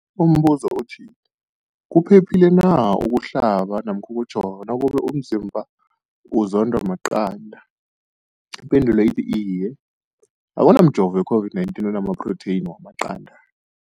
Umbuzo, kuphephile na ukuhlaba namkha ukujova nakube umzimbakho uzondwa maqanda. Ipendulo, Iye. Akuna mjovo we-COVID-19 ona maphrotheyini wamaqanda.